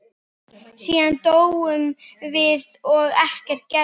Síðan dóum við og ekkert gerðist.